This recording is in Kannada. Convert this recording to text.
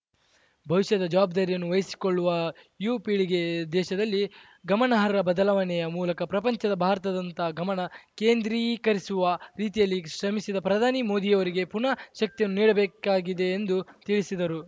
ಭವಿಷ್ಯದ ಜವಾಬ್ದಾರಿಯನ್ನು ವಹಿಸಿಕೊಳ್ಳುವ ಯುವ ಪೀಳಿಗೆ ದೇಶದಲ್ಲಿ ಗಮನಾರ್ಹ ಬದಲಾವಣೆಯ ಮೂಲಕ ಪ್ರಪಂಚದ ಭಾರತದತ್ತ ಗಮನ ಕೇಂದ್ರೀಕರಿಸುವ ರೀತಿಯಲ್ಲಿ ಶ್ರಮಿಸಿದ ಪ್ರಧಾನಿ ಮೋದಿರವರಿಗೆ ಪುನಃ ಶಕ್ತಿಯನ್ನು ನೀಡಬೇಕಾಗಿದೆ ಎಂದು ತಿಳಿಸಿದರು